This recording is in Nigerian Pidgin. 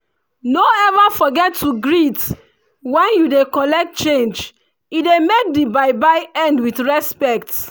no ever forget to greet when you dey collect change e dey make the buy buy end with respect